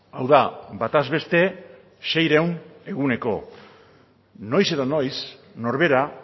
hau da bataz beste seiehun eguneko noiz edo noiz norbera